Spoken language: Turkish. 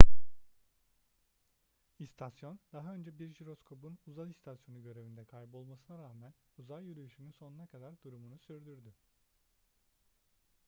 i̇stasyon daha önce bir jiroskopun uzay istasyonu görevinde kaybolmasına rağmen uzay yürüyüşünün sonuna kadar durumunu sürdürdü